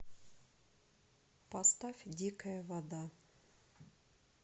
поставь дикая вода